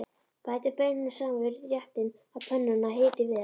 Bætið baununum saman við réttinn á pönnunni og hitið vel.